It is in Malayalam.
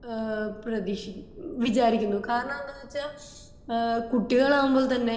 ഏഹ്ഹ് പ്രദീഷിക്കുന്നു ഇത് ഏഹ്ഹ് വിചാരിക്കുന്നു കാരണം എന്താണ് വച്ച കുട്ടികൾ ആവുമ്പോൾ തന്നെ